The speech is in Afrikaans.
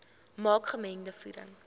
maak gemengde voeding